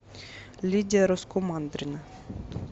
лидия раскумандрина